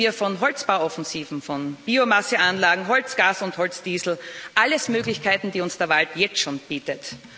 Reden wir von Holzbauoffensiven, von Biomasseanlagen, Holz Gas und Holz Diesel alles Möglichkeiten, die uns der Wald jetzt schon bietet.